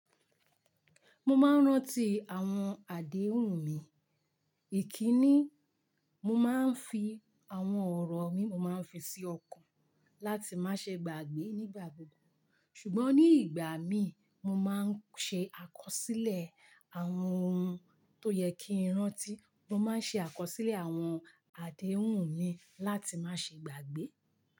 Mo máa ń rántí àwọn àdéhùn mi. Ikínni mo máa ń fi àwọn ọ̀rọ̀ mi mo máa ń fi sí ọkàn láti má ṣe gbàgbé nígbà gbogbo. Ṣùgbọ́n ní ìgbà mi mo máa ń ṣe àkọsílẹ̀ àwọn ohun tó yẹ kí n rántí. Mo máa ń ṣe àkọsílẹ̀ àwọn àdéhùn mi láti má ṣe gbàgbé.